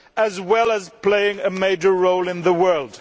as well as to play a major role in the world.